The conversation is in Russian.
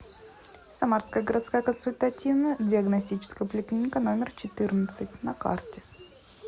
самарская городская консультативно диагностическая поликлиника номер четырнадцать на карте